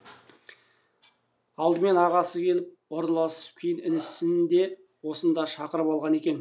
алдымен ағасы келіп орналасып кейін інісін де осында шақырып алған екен